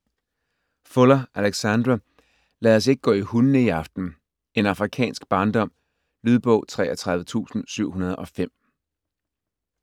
Fuller, Alexandra: Lad os ikke gå i hundene i aften: en afrikansk barndom Lydbog 33705